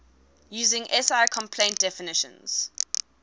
using si compliant definitions